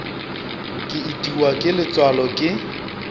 ke itiwa ke letswalo ke